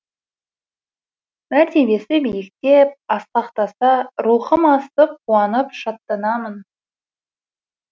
мәртебесі биіктеп асқақтаса рухым асып қуанып шаттанамын